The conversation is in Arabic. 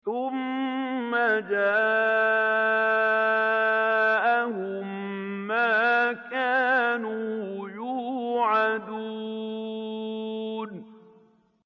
ثُمَّ جَاءَهُم مَّا كَانُوا يُوعَدُونَ